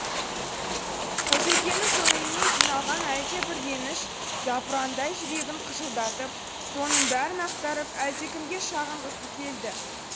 қожекеңнің көңіліне жиналған әлдебір реніш запырандай жүрегін қыжылдатып соның бәрін ақтарып әлдекімге шағынғысы келді